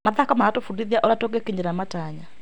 Mathako maratũbundithia ũrĩa tũngĩkinyĩra matanya.